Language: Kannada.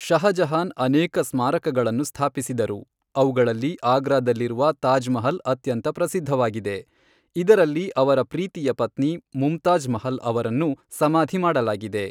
ಷಹಜಹಾನ್ ಅನೇಕ ಸ್ಮಾರಕಗಳನ್ನು ಸ್ಥಾಪಿಸಿದರು, ಅವುಗಳಲ್ಲಿ ಆಗ್ರಾದಲ್ಲಿರುವ ತಾಜ್ ಮಹಲ್ ಅತ್ಯಂತ ಪ್ರಸಿದ್ಧವಾಗಿದೆ, ಇದರಲ್ಲಿ ಅವರ ಪ್ರೀತಿಯ ಪತ್ನಿ ಮುಮ್ತಾಜ್ ಮಹಲ್ ಅವರನ್ನು ಸಮಾಧಿ ಮಾಡಲಾಗಿದೆ.